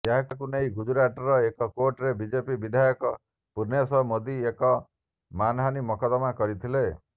ଏହାକୁ ନେଇ ଗୁଜୁରାଟର ଏକ କୋର୍ଟରେ ବିଜେପି ବିଧାୟକ ପୁର୍ଣ୍ଣେଶ ମୋଦି ଏକ ମାନହାନୀ ମକଦମା କରିଥିଲେ